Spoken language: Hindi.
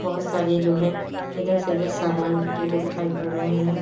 बहुत सारे जो है इधर से उधर सामान लटके हुए दिखाई पड़ रहे है।